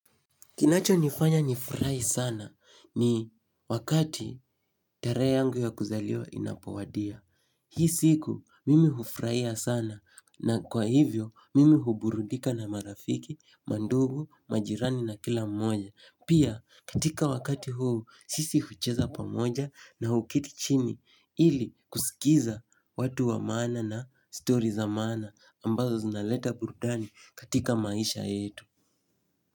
Kinacho nifanya nifurai sana ni wakati tarehe yangu ya kuzaliwa inapowadia. Hii siku mimi hufraia sana na kwa hivyo mimi huburudika na marafiki, mandugu, majirani na kila mmoja. Pia katika wakati huu sisi hucheza pamoja na huketi chini ili kusikiza watu wa maana na story za maana ambazo zinaleta burudani katika maisha yetu.